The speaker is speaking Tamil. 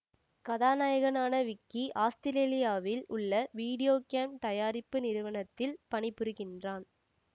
கதாநாயகனான விக்கி ஆசுத்திரேலியாவில் உள்ள வீடியோ கேம் தயாரிப்பு நிறுவனத்தில் பணிபுரிகின்றான்